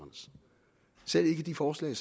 selv ikke de forslag